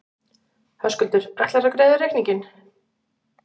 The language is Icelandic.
Höskuldur: Ætlarðu að greiða reikninginn?